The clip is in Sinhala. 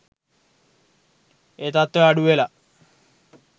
ඒ තත්වය අඩුවෙලා.